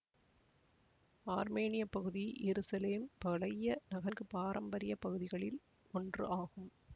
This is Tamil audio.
ஆர்மேனியப் பகுதி எருசலேம் பழைய நகன்கு பாரம்பரிய பகுதிகளில் ஒன்று ஆகும்